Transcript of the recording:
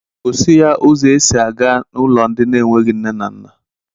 Gosị ya ụzọ e sị a ga n'ụlọ ndi n'enweghị nne na nna